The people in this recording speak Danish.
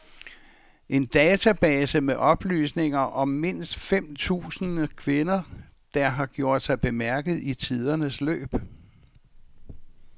En database med oplysninger om mindst fem tusind kvinder, der har gjort sig bemærket i tidernes løb.